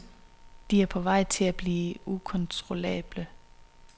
De er på vej til at blive ukontrollable.